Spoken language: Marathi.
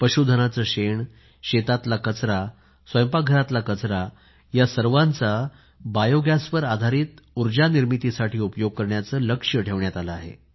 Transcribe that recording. पशुधनाचे शेण शेतातला राहणारा कचरा स्वयंपाक घरातला कचरा या सर्वांचा बायोगॅसवर आधारित उर्जा निर्मितीसाठी उपयोग करण्याचे लक्ष्य ठेवण्यात आले आहे